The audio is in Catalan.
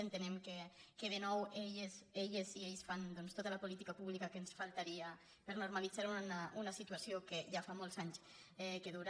entenem que de nou elles i ells fan doncs tota la política pública que ens faltaria per normalitzar una situació que ja fa molts anys que dura